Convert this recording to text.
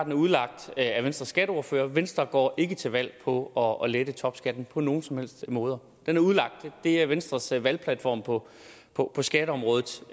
er udlagt af venstres skatteordfører venstre går ikke til valg på at lette topskatten på nogen som helst måde det er venstres valgplatform på på skatteområdet